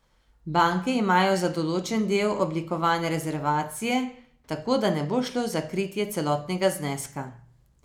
Banke imajo za določen del oblikovane rezervacije, tako da ne bo šlo za kritje celotnega zneska.